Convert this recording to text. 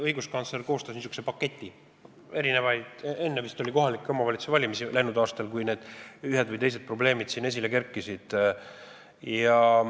Õiguskantsler koostas n-ö paketi enne kohalike omavalitsuste valimisi läinud aastal, kui siin ühed või teised probleemid esile kerkisid.